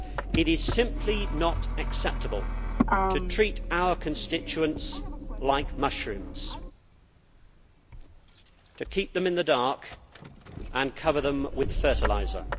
It is simply not acceptable to treat our constituents like mushrooms, to keep them in the dark and cover them with fertiliser.